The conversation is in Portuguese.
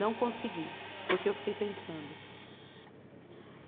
Não consegui, porque eu fiquei pensando.